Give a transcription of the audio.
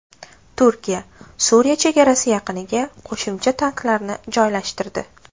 Turkiya Suriya chegarasi yaqiniga qo‘shimcha tanklarni joylashtirdi.